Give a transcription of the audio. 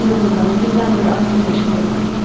Ah inanın mənə, dümdən bəri ağlım başımda deyil.